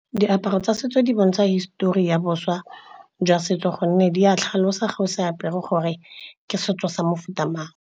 Diaparo tsa setso di bontsha hisitori ya boswa jwa setso gonne di a tlhalosa fa o se apere gore ke setso sa mofuta mang.